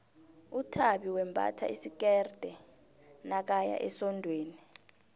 uthabi wembatha isikerde nakaya esondweni